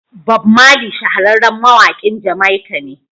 Bob Marley shahararren mawakin Jamaica ne.